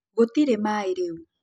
Gũtĩrĩ maĩ rĩũ.